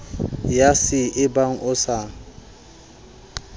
ya c ebang o sa